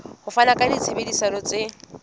ho fana ka ditshebeletso tse